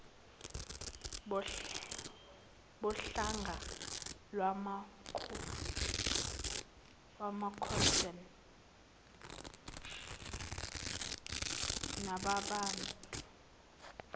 bohlanga lwamakhoisan lababantu